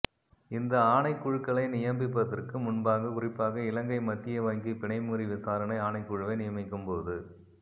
இந்த ஆணைக்குழுக்களை நியமிப்பதற்கு முன்பாக குறிப்பாக இலங்கை மத்திய வங்கி பிணைமுறி விசாரணை ஆணைக்குழுவை நியமிக்கும் போது